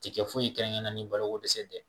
Ti kɛ foyi ye kɛrɛnkɛrɛnnen na ni balokodɛsɛ tɛ